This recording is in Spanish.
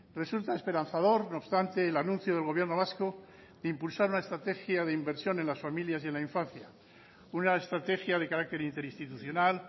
resulta esperanzador no obstante el anuncio del gobierno vasco de impulsar una estrategia de inversión en las familias y en la infancia una estrategia de carácter interinstitucional